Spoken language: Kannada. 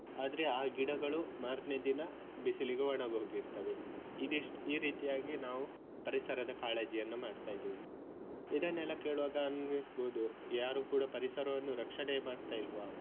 ಆದ್ರೆ ಆ ಗಿಡಗಳು ಮಾರನೇ ದಿನ ಬಿಸಿಲಿಗೆ ಒಣಗ್ ಹೋಗಿರ್ತವೆ ಇದೆಷ್ಟು ಈ ರೀತಿಯಾಗಿ ನಾವು ಪರಿಸರದ ಕಾಳಜಿಯನ್ನ ಮಾಡ್ತಾ ಇದ್ದೇವೆ ಇದನ್ನೆಲ್ಲ ಕೇಳುವಾಗ ಅನ್ನಿಸ್ಬೋದು ಯಾರು ಕೂಡಾ ಪರಿಸರವನ್ನು ರಕ್ಷಣೆ ಮಾಡ್ತಾ ಇಲ್ವಾ.